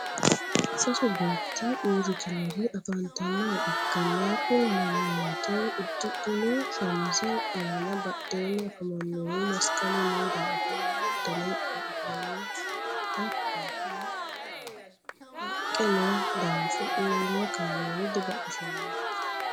Sasu beeti uuritinori afanitannoha ikanna kuri manooti udidhino shamize aanna badheenni afamanohu masinqalu noo daafo lowontanni baxisanno hatonnaho haqqe noo daafo uurino kameeli dibaxisanno.